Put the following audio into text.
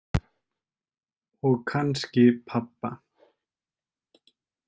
Og kannski pabba.